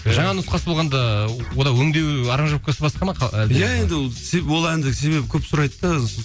жаңа нұсқасы болғанда онда өңдеу аранжировкасы басқа ма әлде иә енді ол себебі ол әнді себебі көп сұрайды да